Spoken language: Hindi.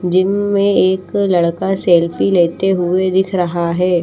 जिम में एक लड़का सेल्फी लेते हुए दिख रहा है।